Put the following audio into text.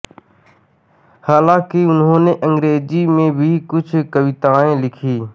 हालाँकि उन्होंने अंग्रेजी में भी कुछ कवितायें लिखी